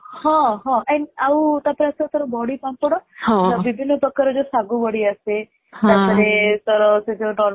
ହଁ ହଁ And ଆଉ ତା ପରେ ଆସିବ ତୋର ବଡ଼ି ପାମ୍ପଡ ବିଭିନ୍ନ ପ୍ରକାର ର ସାଗୁ ବଡି ଆସେ ତା ପରେ ତୋର ସେ ଯୋଉ normal